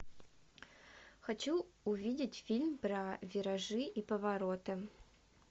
хочу увидеть фильм про виражи и повороты